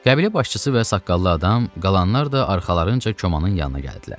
Qəbilə başçısı və saqqallı adam, qalanlar da arxalarınca komanın yanına gəldilər.